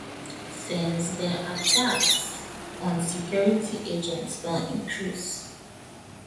since den attacks on security agents don increase